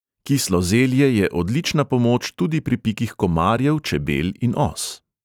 Kislo zelje je odlična pomoč tudi pri pikih komarjev, čebel in os.